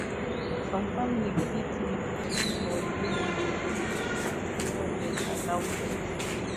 some family fit need pray or do one or two things before them allow procedure